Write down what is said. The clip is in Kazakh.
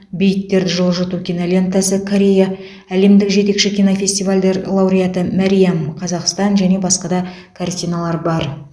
бейіттерді жылжыту кинолентасы корея әлемдік жетекші кинофестивальдер лауреаты мәриам қазақстан және басқа да картиналар бар